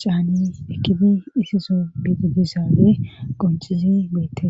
caani ekidi issiso biididizaane qonxizi beette.